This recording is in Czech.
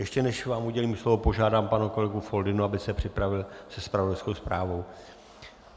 Ještě než vám udělím slovo, požádám pana kolegu Foldynu, aby se připravil se zpravodajskou zprávou.